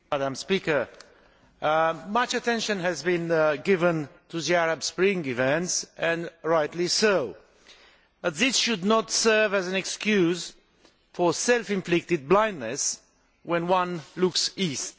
Madam President, much attention has been given to the Arab Spring events and rightly so but this should not serve as an excuse for self inflicted blindness when one looks east.